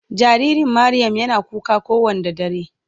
jaririn Mariam Yana kuka ko Wanda dare.